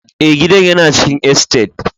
Ee, gidan yana cikin estate.